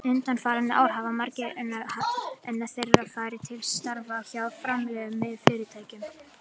Undanfarin ár hafa margir þeirra farið til starfa hjá fjármálafyrirtækjum.